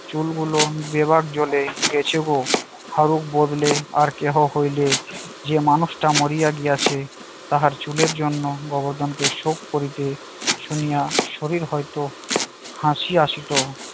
চুল গুলোন দেবার ঘরে গেছে গো। হারু বদলে আর কেহ হইলে যে মানুষটা মরিয়া গিয়াছে তাহার চুলের জন্য গোবর্ধনকে শোক করিতে শুনিয়া শরীর হয়তো হাসি আসিত